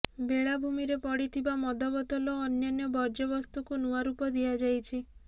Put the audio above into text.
ବେଳାଭୂମିରେ ପଡ଼ିଥିବା ମଦ ବୋତଲ ଓ ଅନ୍ୟାନ୍ୟ ବର୍ଜ୍ୟବସ୍ତୁକୁ ନୂଆ ରୂପ ଦିଆଯାଇଛି